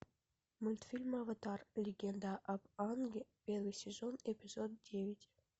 мультфильм аватар легенда об аанге первый сезон эпизод девять